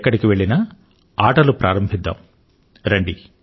ఎక్కడికి వెళ్ళినా ఆటలు ప్రారంభిద్దాం రండి